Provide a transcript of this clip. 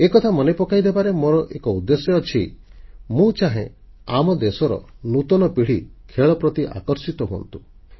ଏକଥା ମନେ ପକାଇଦେବାରେ ମୋର ଏକ ଉଦ୍ଦେଶ୍ୟ ଅଛି ମୁଁ ଚାହେଁ ଆମ ଦେଶର ନୂତନ ପିଢ଼ି ଖେଳ ପ୍ରତି ଆକର୍ଷିତ ହୁଅନ୍ତୁ